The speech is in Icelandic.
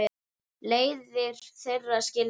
Leiðir þeirra skildu.